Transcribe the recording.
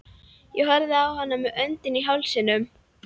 Ég horfði á hana með öndina í hálsinum.